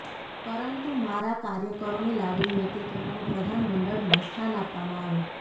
પરંતુ મારા કાર્યકરોની લાગણી હતી કે મને પ્રધાનમંડળમાં સ્થાન આપવામાં આવે